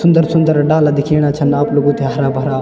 सुन्दर-सुन्दर डाला दिखेणा छिन आप लोगों थे हरा-भरा।